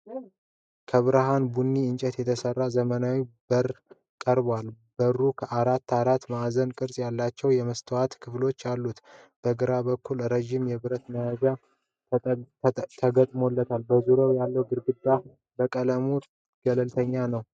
ከብርሃን ቡኒ እንጨት የተሰራ ዘመናዊ በር ቀርቧል። በሩ አራት አራት ማዕዘን ቅርጽ ያላቸው የመስታወት ክፍሎች አሉት። በግራ በኩል ረዥም የብረት መያዣ ተገጥሞለታል። በዙሪያው ያለው ግድግዳ በቀለሙ ገለልተኛ ነው።